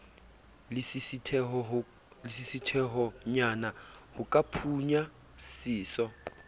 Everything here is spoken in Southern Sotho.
lesisithehonyana ho ka phunya seso